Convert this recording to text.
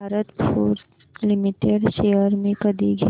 Bharat forge limited shares मी कधी घेऊ